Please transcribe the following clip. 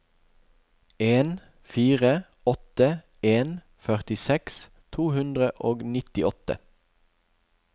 en fire åtte en førtiseks to hundre og nittiåtte